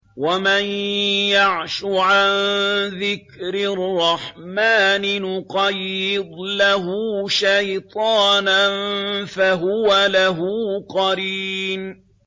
وَمَن يَعْشُ عَن ذِكْرِ الرَّحْمَٰنِ نُقَيِّضْ لَهُ شَيْطَانًا فَهُوَ لَهُ قَرِينٌ